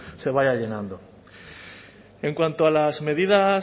se vaya llenando en cuanto a las medidas